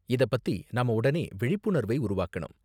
இத பத்தி நாம உடனே விழிப்புணர்வை உருவாக்கணும்.